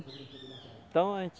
Então